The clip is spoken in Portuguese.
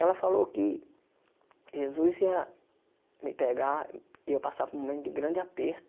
Ela falou que Jesus ia me pegar e eu passar por um momento de grande aperto.